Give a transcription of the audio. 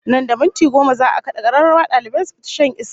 Nan da minti goma za'a kada kararrawa dalibai su fita shan iska